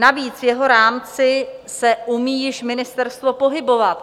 Navíc v jeho rámci se umí již ministerstvo pohybovat.